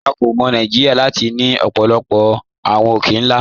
À kò mọ̀ Nàìjíríà láti ni ọ̀pọ̀lọ̀pọ̀ awọn òkè-nlá.